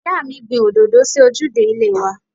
Ìyáàmi gbìn òdòdó sí ojúde ilé wa.